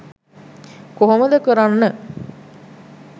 කොහොමද කරන්න?